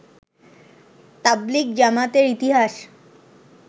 তাবলিগ জামাতের ইতিহাস